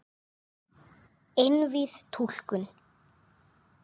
Einvíð túlkun